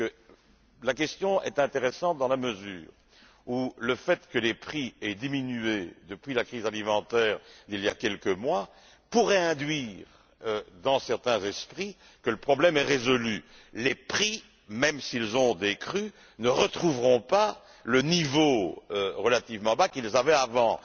Soyez rassurés je dois vous dire que la question est intéressante dans la mesure où le fait que les prix aient diminué depuis la crise alimentaire, il y a quelques mois, pourrait induire dans certains esprits que le problème est résolu. Les prix, même s'ils ont décru, ne retrouveront pas le niveau relativement bas qu'ils avaient avant.